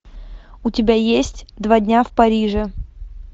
у тебя есть два дня в париже